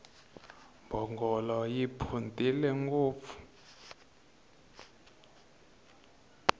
mbhongolo yi phuntile ngopfu